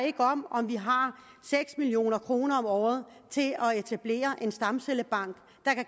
ikke om om vi har seks million kroner om året til at etablere en stamcellebank